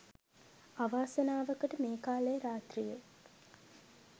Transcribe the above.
අවාසනාවකට මේ කාලේ රාත්‍රියේ